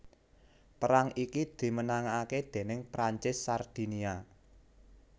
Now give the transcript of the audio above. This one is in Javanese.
Perang iki dimenangaké déning Prancis Sardinia